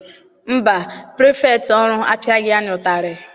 Mba, pirifektị ọrụ apiaghi anyị ụtarị.